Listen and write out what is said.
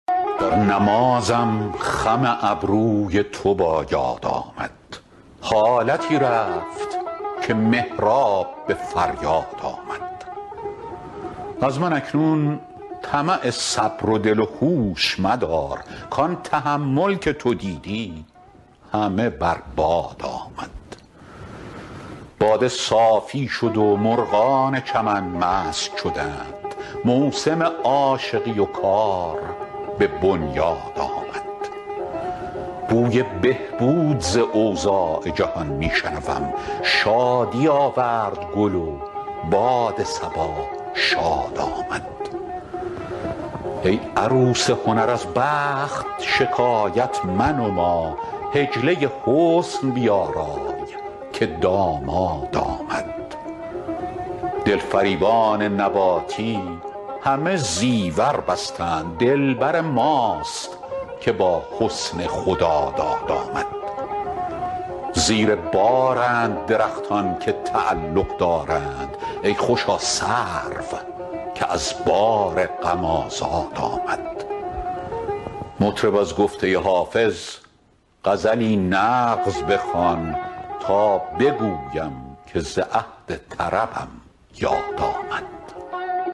در نمازم خم ابروی تو با یاد آمد حالتی رفت که محراب به فریاد آمد از من اکنون طمع صبر و دل و هوش مدار کان تحمل که تو دیدی همه بر باد آمد باده صافی شد و مرغان چمن مست شدند موسم عاشقی و کار به بنیاد آمد بوی بهبود ز اوضاع جهان می شنوم شادی آورد گل و باد صبا شاد آمد ای عروس هنر از بخت شکایت منما حجله حسن بیارای که داماد آمد دلفریبان نباتی همه زیور بستند دلبر ماست که با حسن خداداد آمد زیر بارند درختان که تعلق دارند ای خوشا سرو که از بار غم آزاد آمد مطرب از گفته حافظ غزلی نغز بخوان تا بگویم که ز عهد طربم یاد آمد